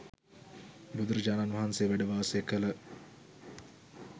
බුදුරජාණන් වහන්සේ වැඩ වාසය කළ